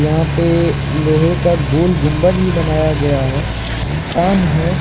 यहां पे लोहे का गोल गुंम्बज भी बनाया गया है है।